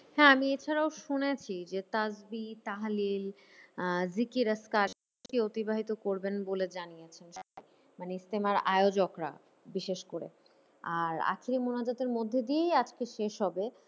হ্যাঁ আমি এছাড়াও শুনেছি যে তাসজি তাহালিল আহ কে অতিবাহিত করবেন বলে জানিয়েছেন মানে ইস্তেমার আয়োজকরা বিশেষ করে। আর আখেরি মোনাজাতের মধ্যে দিয়েই আজকে শেষ হবে।